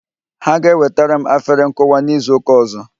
Ha ga-ewetara m afere nkụwa n'izu ụka ọzọ